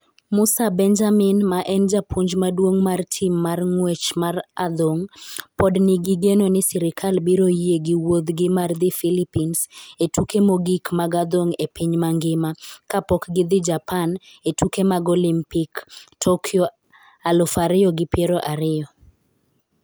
Musa Benjamin ma en japuonj maduong' mar tim mar ng'wech mar adhong' pod nigi geno ni sirkal biro yie gi wuodhgi mar dhi Philippines e tuke mogik mag adhong' e piny mangima kapok gidhi Japan e tuke mag Olimpik Tokyo aluf ariyo gi piero ariyo.